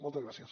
moltes gràcies